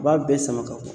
U b'a bɛɛ sama ka bɔ